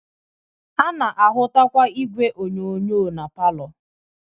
A na-ahụtakwa igwe onyonyo na palọ